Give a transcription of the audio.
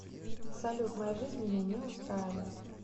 салют моя жизнь меня не устраивает